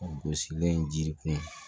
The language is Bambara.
Gosilen ji kunun